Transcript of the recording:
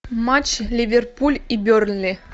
матч ливерпуль и бернли